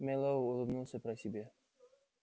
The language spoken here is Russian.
мэллоу улыбнулся про себя